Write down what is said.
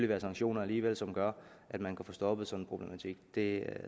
være sanktioner alligevel som gør at man kan få stoppet sådan en problematik det er